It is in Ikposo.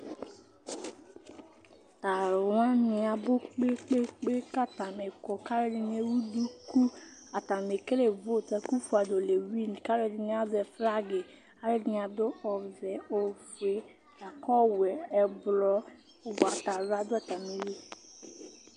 Talʋwani abʋ kpe kpe kpe kpe kʋ atani kɔ kʋ ɛdini ewʋ duku, atani ekele vot ɛkʋfʋadʋ lewin kʋ alʋɛdini azɛ flagi, alʋɛdini adʋ ɔvɛ, ofue, lakʋ ɔwɛ, ɛblɔ, ʋgbatawla dʋ atamill